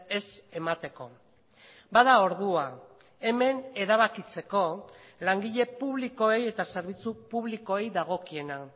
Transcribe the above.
ez emateko bada ordua hemen erabakitzeko langile publikoei eta zerbitzu publikoei dagokiena